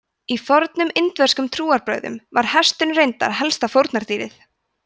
í fornum indverskum trúarbrögðum var hesturinn reyndar helsta fórnardýrið